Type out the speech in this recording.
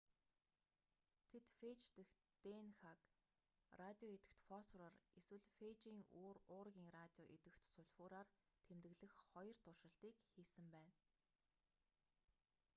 тэд фээж дэх днх-г радио идэвхит фосфороор эсвэл фээжийн уургийн радио идэвхит сульфураар тэмдэглэх хоёр туршилтыг хийсэн байна